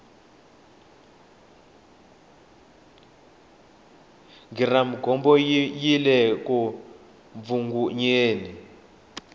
giramugomoyile ku mbvungunyeni